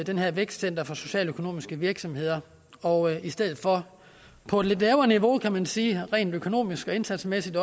det her vækstcenter for socialøkonomiske virksomheder og i stedet for på et lidt lavere niveau kan man sige rent økonomisk og indsatsmæssigt